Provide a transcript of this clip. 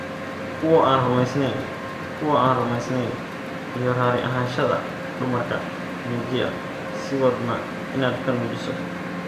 "Kuwo aan rumeysneyn, kuwa aan rumeysneyn, iyo raali ahaanshaha dumarka, muujiya, sii wadna inaad ka nuujiso."